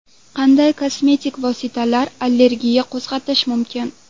Qanday kosmetik vositalar allergiya qo‘zg‘atishi mumkin?